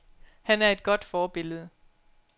Han er et godt forbillede.